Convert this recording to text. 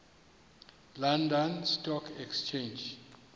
london stock exchange